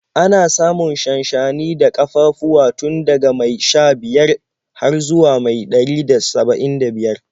Ana samun shanshani da ƙafafuwa tun daga mai sha-biyar har zuwa mai ɗari da saba'in da biyar.